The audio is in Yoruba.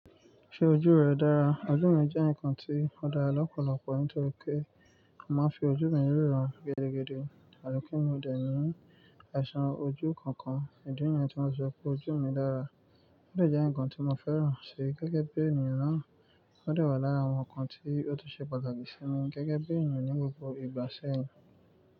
Ṣé ojú rẹ dára? Ojú mi jẹ́ ǹkan tí ó dára lọ́pọ̀lọpọ̀ nítorí pé màá fi ojú mi ríran gidigidi atipe mi ò dẹ̀ ní àìsàn ojú kankan. Ìdí nìyẹn tí mo sọ pé ojú mi dára. Ó dà jẹ́ ǹkan tí mo fẹ́ràn ṣe gẹ́gẹ́ bí ènìyàn náà. Ó dẹ wà lára àwọn ǹkan tí ó tún ṣe pàtàkì sí mi gẹ́gẹ́ bí ènìyàn ní gbogbo ìgbà sẹ́yìn.